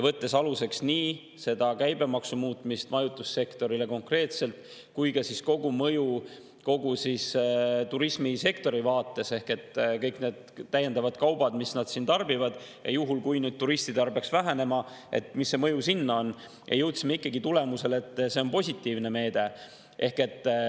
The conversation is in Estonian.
Võtsime aluseks nii majutussektori käibemaksu muutmise konkreetselt kui ka kogumõju kogu turismisektori vaates ehk kõik need täiendavad kaubad, mida tarbitakse, ka juhul, kui turistide arv peaks vähenema, ja, milline see mõju siis on, ja jõudsime ikkagi tulemusele, et see on positiivne meede.